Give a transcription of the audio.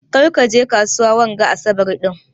Ƙar ki je kasuwa wanga asaɓar din.